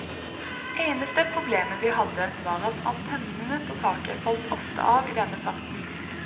Eneste problemet vi hadde var at antennene på taket falt ofte av i denne farten.